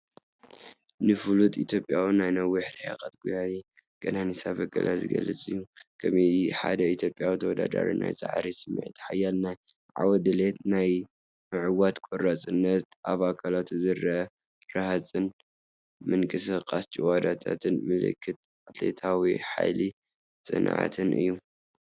ንፍሉጥ ኢትዮጵያዊ ናይ ነዊሕ ርሕቀት ጎያዪ ቀነኒሳ በቀለ ዝገልጽ እዩ፣ ከም ሓደ ኢትዮጵያዊ ተወዳዳሪ ናይ ጻዕሪ ስምዒት፡ ሓያል ናይ ዓወት ድሌት፡ ናይ ምዕዋት ቆራጽነት፣ ኣብ ኣካላቱ ዝረአ ረሃጽን ምንቅስቓስ ጭዋዳታትን ምልክት ኣትሌቲካዊ ሓይልን ጽንዓትን እዩ።